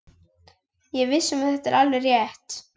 Ég er viss um að þetta er alveg rétt.